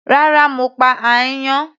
Rárá, mo pa áyán.